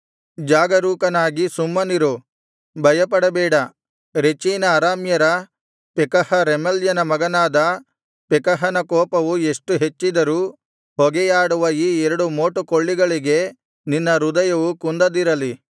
ಜಾಗರೂಕನಾಗಿ ಸುಮ್ಮನಿರು ಭಯಪಡಬೇಡ ರೆಚೀನ ಅರಾಮ್ಯರ ಪೆಕಹ ರೆಮಲ್ಯನ ಮಗನಾದ ಪೆಕಹನ ಕೋಪವು ಎಷ್ಟು ಹೆಚ್ಚಿದರೂ ಹೊಗೆಯಾಡುವ ಈ ಎರಡು ಮೋಟುಕೊಳ್ಳಿಗಳಿಗೆ ನಿನ್ನ ಹೃದಯವು ಕುಂದದಿರಲಿ